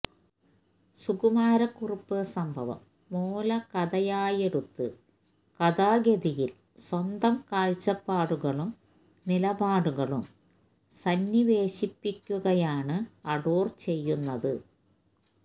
സുകുമാരക്കുറുപ്പ് സംഭവം മൂലകഥയായെടുത്ത് കഥാഗതിയിൽ സ്വന്തം കാഴ്ചപ്പാടുകളും നിലപാടുകളും സന്നിവേശിപ്പിക്കുകയാണ് അടൂർ ചെയ്യുന്നത്